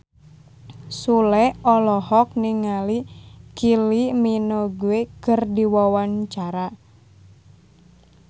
Sule olohok ningali Kylie Minogue keur diwawancara